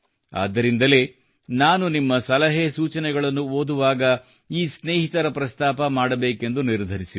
ಆದ್ದರಿಂದಲೇ ನಾನು ನಿಮ್ಮ ಸಲಹೆ ಸೂಚನೆಗಳನ್ನು ಓದುವಾಗ ಈ ಸ್ನೇಹಿತರ ಪ್ರಸ್ತಾಪ ಮಾಡಬೇಕೆಂದು ನಿರ್ಧರಿಸಿದೆ